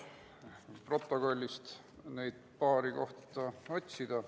Püüan protokollist need paar kohta üles otsida ...